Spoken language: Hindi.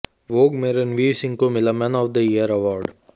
वोग में रणवीर सिंह को मिला man of the year award